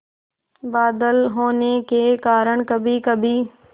बादल होने के कारण कभीकभी